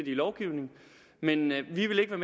i lovgivningen men vi vil ikke